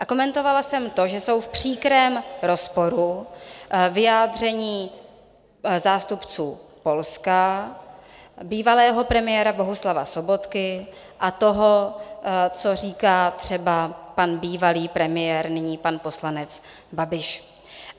A komentovala jsem to, že jsou v příkrém rozporu vyjádření zástupců Polska, bývalého premiéra Bohuslava Sobotky a toho, co říká třeba pan bývalý premiér, nyní pan poslanec Babiš.